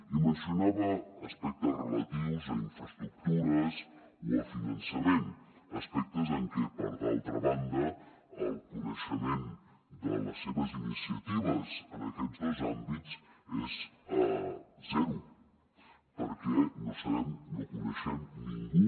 i mencionava aspectes relatius a infraestructures o a finançament aspectes en què per altra banda el coneixement de les seves iniciatives en aquests dos àmbits és zero perquè no sabem no coneixem ningú